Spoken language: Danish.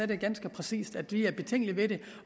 det ganske præcist at vi er betænkelige ved det